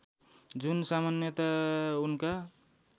जुन सामान्यतया उनका